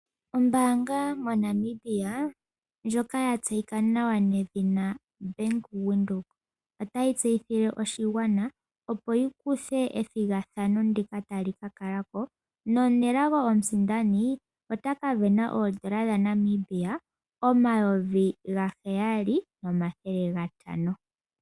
Ombanga moNamibia ndyoka yatseyika nawa nedhina bank windhoek otayi tseyithile oshigwana opo yi kuthe ethigathano ndhika tali kakala ko nomunelago omusindani otaka sindana oondola dhaNamibia omavi gaheyali nomathele gatano.